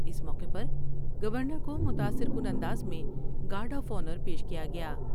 اس موقع پر گورنر کومتاثر کن انداز میں گارڈ آف آنر پیش کیا گیا ۔